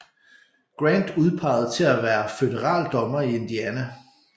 Grant udpeget til at være Føderal dommer i Indiana